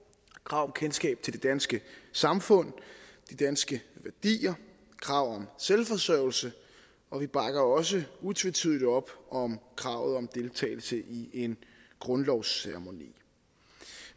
krav om kendskab til det danske samfund og de danske værdier og krav selvforsørgelse og vi bakker også utvetydigt op om kravet om deltagelse i en grundlovsceremoni